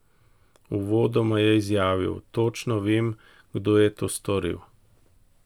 Uvodoma je izjavil: "točno vem, kdo je to storil".